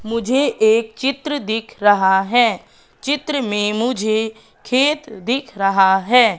मुझे एक चित्र दिख रहा है चित्र में मुझे खेत दिख रहा हैं।